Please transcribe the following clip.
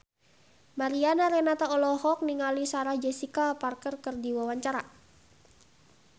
Mariana Renata olohok ningali Sarah Jessica Parker keur diwawancara